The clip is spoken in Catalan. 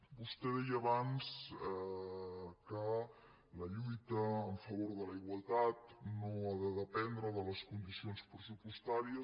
vostè deia abans que la lluita en favor de la igualtat no ha de dependre de les condicions pressupostàries